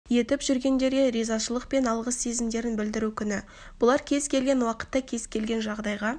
етіп жүргендерге ризашылық пен алғыс сезімдерін білдіру күні бұлар кез келген уақытта кез келген жағдайға